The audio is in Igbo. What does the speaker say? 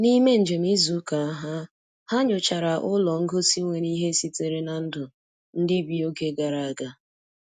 N'ime njem izu ụka ha, ha nyochara ụlọ ngosi nwere ihe sitere na ndụ ndị bi oge gara aga.